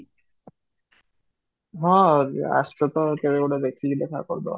ହଁ ଆସୁଛ ତ କେଭେ ଗୋଟେ ଦେଖିକି ଦେଖା କରି ଦବା